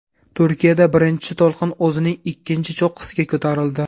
Turkiyada birinchi to‘lqin o‘zining ikkinchi cho‘qqisiga ko‘tarildi.